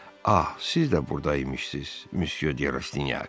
Ah, siz də burda imişsiz, Müsye de Rastinyak.